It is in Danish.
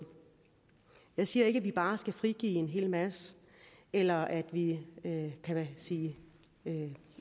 jeg siger ikke at vi bare skal frigive en hel masse eller at vi kan sige